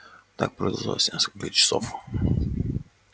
так продолжалось несколько часов